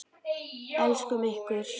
Elskum ykkur.